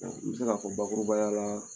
U bɛ seka fɔ bakurubaya la